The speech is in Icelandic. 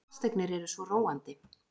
Fasteignir eru svo róandi.